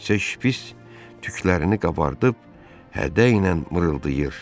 Təkcə şpits tüklərini qabardıb, hədəylə mırıldayır.